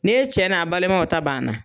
N' e cɛ n' a balimanw ta ban na